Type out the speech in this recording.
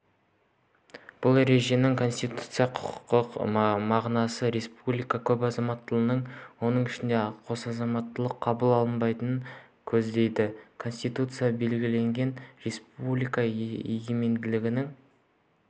бұл ереженің конституциялық-құқықтық мағынасы республикада көпазаматтылық оның ішінде қосазаматтылық қабыл алынбайтынын көздейді конституцияда белгіленген республика егемендігінің